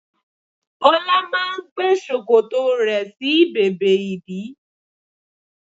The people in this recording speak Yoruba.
Ọlá máa ń gbé ṣòkòtò rẹ̀ sí bèbè ìdí